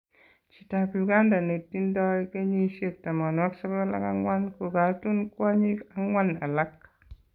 chitab Uganda netindo kenyisiek 94, kokatun kwonyik ang'wan alak.